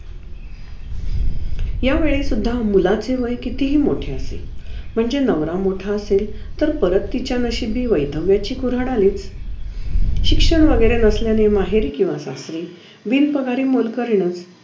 यावेळी सुद्धा मुलाचे वय कितीही मोठे असे म्हणजे नवरा मोठा असेल तर आत तिच्या नशिबी वैध्यव्याची कुऱ्हाड आलीच शिक्षण वैगेरे नसल्याने माहेरी किव्हा सासरी बिनपगारी मोलकरीणच